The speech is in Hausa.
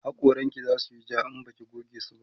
hakoran ki zasuyi ja in Baki goge su